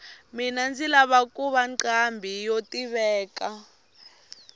mina ndzi lava kuva nqambhi yo tiveka